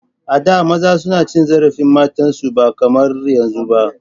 A da maza suna cin zarafin matan su ba kamar yanzun ba.